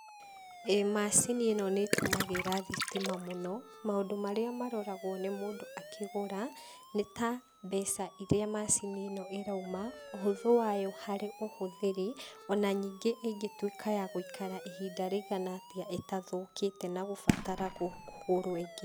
ĩĩ macini ĩno nĩĩtũmagĩra thitima mũno. Maũndũ marĩa maroragwo nĩ mũndũ akĩgũra nĩ ta mbeca irĩa macini ĩno ĩrauma, ũhũthũ wayo harĩ ũhũthĩri, ona ningĩ ĩngĩtuĩka ya gũikara ihinda rĩigana atĩa ĩtathũkĩte na kũbatara kũgũrwo ĩngĩ.